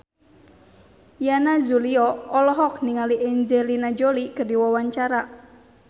Yana Julio olohok ningali Angelina Jolie keur diwawancara